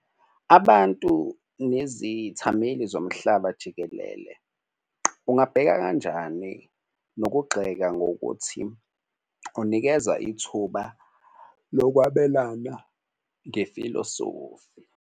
Abantu nezithameli zomhlaba jikelele ungabheka kanjani nokugxeka ngokuthi unikeza ithuba lokwabelana ngefilosofi.